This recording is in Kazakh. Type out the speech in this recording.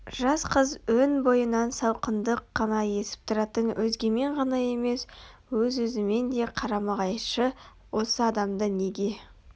жас қыз өн бойынан салқындық қана есіп тұратын өзгемен ғана емес өз-өзімен де қарама-қайшы осы адамды неге